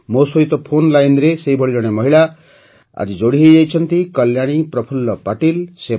ମୋ ସହିତ ଫୋନ୍ ଲାଇନରେ ସେହିଭଳି ଜଣେ ମହିଳା ଅଛନ୍ତି କଲ୍ୟାଣୀ ପ୍ରଫୁଲ୍ଲ ପାଟିଲ୍